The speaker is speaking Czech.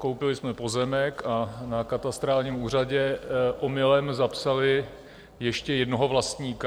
Koupili jsme pozemek a na katastrálním úřadě omylem zapsali ještě jednoho vlastníka.